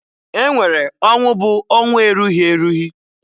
E nwere ọnwụ bụ ọnwụ erughi erughi